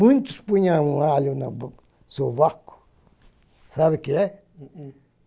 Muitos punham um alho no sovaco, sabe o que é? uhm uhm